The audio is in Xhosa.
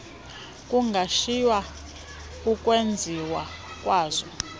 kungashiywa ukwenziwa kwazo